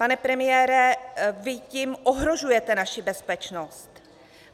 Pane premiére, vy tím ohrožujete naši bezpečnost.